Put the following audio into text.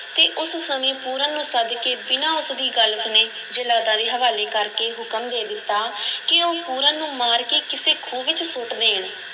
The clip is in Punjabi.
ਅਤੇ ਉਸ ਸਮੇਂ ਪੂਰਨ ਨੂੰ ਸੱਦ ਕੇ ਬਿਨਾਂ ਉਸ ਦੀ ਗੱਲ ਸੁਣੇ, ਜੱਲਾਦਾਂ ਦੇ ਹਵਾਲੇ ਕਰ ਕੇ ਹੁਕਮ ਦੇ ਦਿੱਤਾ ਕਿ ਉਹ ਪੂਰਨ ਨੂੰ ਮਾਰ ਕੇ ਕਿਸੇ ਖੂਹ ਵਿੱਚ ਸੁੱਟ ਦੇਣ।